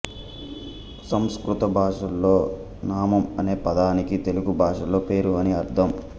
సంస్కృత భాషలో నామం అనే పదానికి తెలుగు భాషలో పేరు అని అర్థం